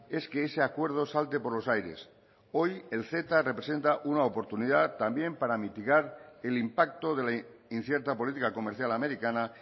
es que ese acuerdo salte por los aires hoy el ceta representa una oportunidad también para mitigar el impacto de la incierta política comercial americana